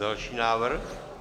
Další návrh?